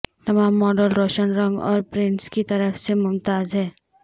تمام ماڈل روشن رنگ اور پرنٹس کی طرف سے ممتاز ہیں